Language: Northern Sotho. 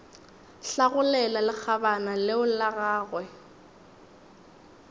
hlagolela lekgabana leo la gagwe